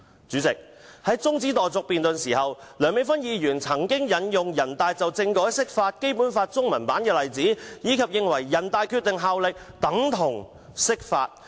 主席，在辯論中止待續議案時，梁美芬議員曾引用人大常委會就政改釋法及《基本法》中文版的例子，並認為"《決定》的效力等同釋法"。